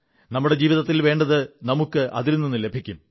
നമ്മുടെ ജീവിതത്തിൽ വേണ്ടത് നമുക്ക് അതിൽ നിന്ന് ലഭിക്കും